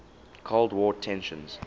cold war tensions